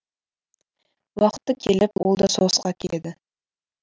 уақыты келіп ол да соғысқа кетеді